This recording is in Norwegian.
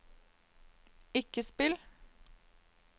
ikke spill